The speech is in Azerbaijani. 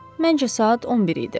Məncə saat 11 idi.